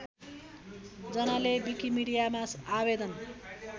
जनाले विकिमीडियामा आवेदन